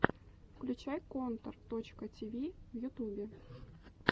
включай контор точка ти ви в ютюбе